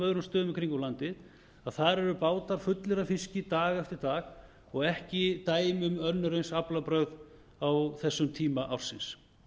öðrum stöðum í kringum landið að þar eru bátar fullir af fiski dag eftir dag og ekki dæmi um önnur eins aflabrögð á þessum tíma ársins